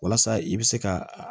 Walasa i bɛ se ka